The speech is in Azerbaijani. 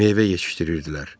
Meyvə yetişdirirdilər.